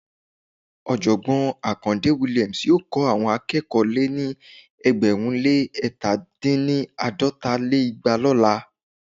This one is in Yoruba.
Ọ̀jọ̀gbọ́n Akande Williams yóò kọ́ àwọn akẹ́kọ̀ọ́ lé ní ẹgbẹ̀rún lé ẹ̀ta dín ní- àádọ́rin lé igba lọ́la